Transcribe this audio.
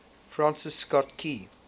francis scott key